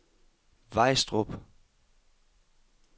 Vejstrup